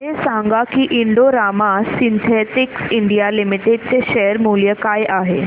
हे सांगा की Indo Rama synthetics India limited चे शेअर मूल्य काय आहे